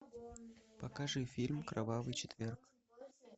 покажи фильм кровавый четверг